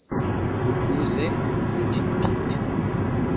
ukuze kuthi phithi